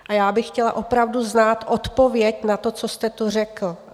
A já bych chtěla opravdu znát odpověď na to, co jste tu řekl.